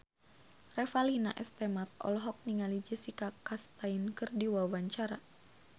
Revalina S. Temat olohok ningali Jessica Chastain keur diwawancara